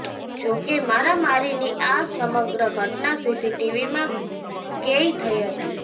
જો કે મારામારીની આ સમગ્ર ઘટના સીસીટીવીમાં કેઈ થઈ હતી